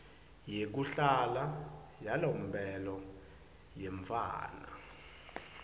yekuhlala yalomphelo yemntfwana